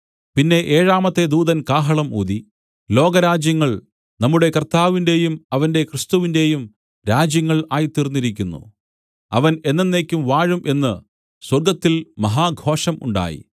പിന്നെ ഏഴാമത്തെ ദൂതൻ കാഹളം ഊതി ലോകരാജ്യങ്ങൾ നമ്മുടെ കർത്താവിന്റെയും അവന്റെ ക്രിസ്തുവിന്റെയും രാജ്യങ്ങൾ ആയിത്തീർന്നിരിക്കുന്നു അവൻ എന്നെന്നേക്കും വാഴും എന്നു സ്വർഗ്ഗത്തിൽ മഹാഘോഷം ഉണ്ടായി